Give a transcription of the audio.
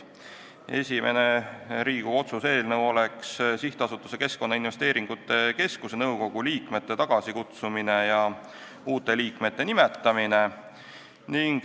Esimene Riigikogu otsuse eelnõu on SA Keskkonnainvesteeringute Keskus nõukogu liikmete tagasikutsumise ja uute liikmete nimetamise kohta.